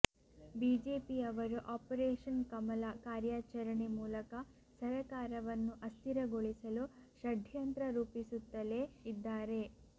ಬಿಜೆಪಿಯವರು ಆಪರೇಷನ್ ಕಮಲ ಕಾರ್ಯಾಚರಣೆ ಮೂಲಕ ಸರಕಾರವನ್ನು ಅಸ್ಥಿರಗೊಳಿಸಲು ಷಡ್ಯಂತ್ರ ರೂಪಿಸುತ್ತಲೇ ಇದ್ದಾರೆ